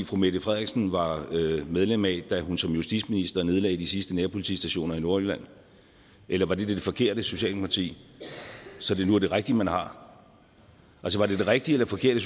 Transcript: fru mette frederiksen var medlem af da hun som justitsminister nedlagde de sidste nærpolitistationer i nordjylland eller var det det forkerte socialdemokrati så det nu er det rigtige man har var det det rigtige eller forkerte